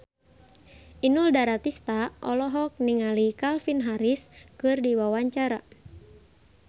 Inul Daratista olohok ningali Calvin Harris keur diwawancara